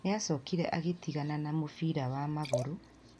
Nĩ acokire agĩtigana na mũbira wa magũrũ